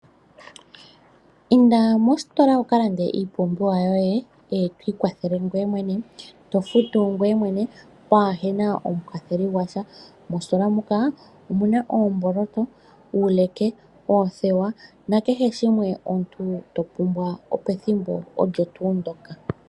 Inda mositola wukalande iipumbiwa yoye eto ikwathele ngoye mwene, to futu ngoye mwene pwaahena omukwatheli gwasha. Moositola muka omu na oomboloto, uuleke, oothewa na kehe shimwe omuntu to pumbwa pethimbo olyo tuu ndoka.